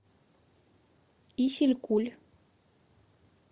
исилькуль